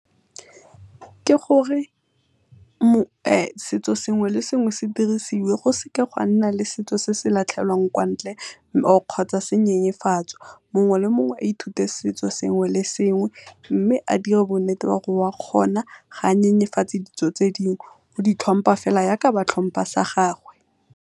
Ke gore setso sengwe le sengwe se dirisiwe go seka go a nna le setso se se latlhelwang kwa ntle kgotsa se nyenyefatswa, mongwe le mongwe a ithute setso sengwe le sengwe mme a dire bo nnete ba gore o a kgona ga nyenyefatse ditso tse dingwe, o di tlhompa fela yaka ba tlhompa sa gagwe.